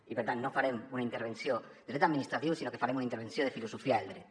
i per tant no farem una intervenció de dret administratiu sinó que farem una intervenció de filosofia del dret